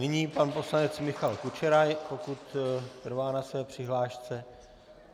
Nyní pan poslanec Michal Kučera, pokud trvá na své přihlášce.